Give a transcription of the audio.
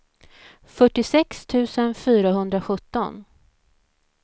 fyrtiosex tusen fyrahundrasjutton